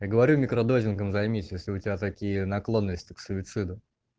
я говорю в микродойдингом займись если у тебя такие наклонности к суициду